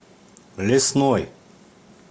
лесной